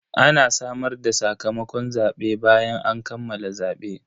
Ana sanar da sakamakon zabe bayan an kammala zabe.